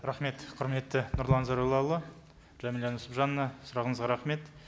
рахмет құрметті нұрлан зайроллаұлы жәмилә нүсіпжановна сұрағыңызға рахмет